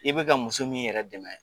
I bɛ ka muso min yɛrɛ dɛmɛ